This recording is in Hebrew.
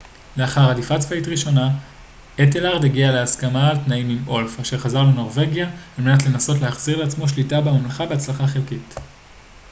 לאחר הדיפה צבאית ראשונה אתלרד הגיע להסכמה על תנאים עם אולף אשר חזר לנורווגיה על מנת לנסות להחזיר לעצמו שליטה בממלכה בהצלחה חלקית